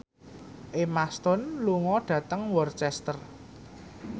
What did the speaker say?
Emma Stone lunga dhateng Worcester